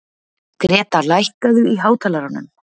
Gréta, lækkaðu í hátalaranum.